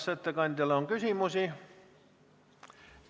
Kas ettekandjale on küsimusi?